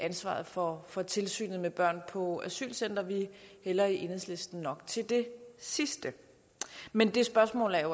ansvaret for for tilsynet med børn på asylcentre vi hælder i enhedslisten nok til det sidste men det spørgsmål er